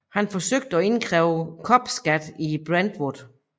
Han forsøgte at indkræve kopskat i Brentwood